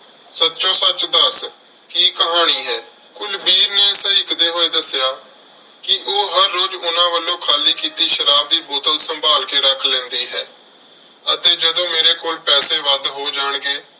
ਸੱਚੋ ਸੱਚ ਦੱਸ ਕੀ ਕਹਾਣੀ ਏ? ਕੁਲਵੀਰ ਨੇ ਸਹਿਕਦੇ ਹੋਏ ਦੱਸਿਆ ਕਿ ਉਹ ਉਹ ਹਰ ਰੋਜ਼ ਉਨ੍ਹਾਂ ਵੱਲੋਂ ਖਾਲੀ ਕੀਤੀ ਸ਼ਰਾਬ ਦੀ ਬੋਤਲ ਸੰਭਾਲ ਕੇ ਰੱਖ ਲੈਂਦੀ ਹੈ ਅਤੇ ਜਦੋਂ ਮੇਰੇ ਕੋਲ ਪੈਸੇ ਵੱਧ ਹੋ ਜਾਣਗੇ